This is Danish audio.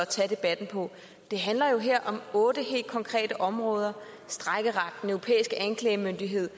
tage debatten på det handler jo her om otte helt konkrete områder strejkeret den europæiske anklagemyndighed